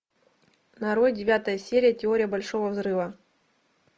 нарой девятая серия теория большого взрыва